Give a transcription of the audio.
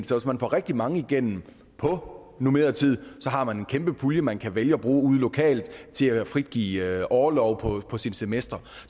får rigtig mange igennem på normeret tid har man en kæmpe pulje man kan vælge at bruge ude lokalt til at frigive orlov på semestre